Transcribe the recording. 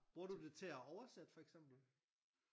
Bruger du det til at oversætte for eksempel?